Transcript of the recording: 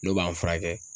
N'o b'an furakɛ